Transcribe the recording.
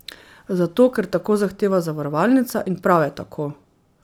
Zato, ker tako zahteva zavarovalnica, in prav je tako.